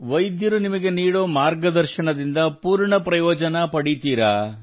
ವೈದ್ಯರು ನಿಮಗೆ ನೀಡುವ ಮಾರ್ಗದರ್ಶನದಿಂದ ಪೂರ್ಣ ಪ್ರಯೋಜನವನ್ನು ಪಡೆಯುತ್ತೀರಾ